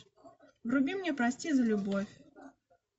вруби мне прости за любовь